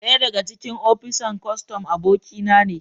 daya daga cikin opisan kostom abokinane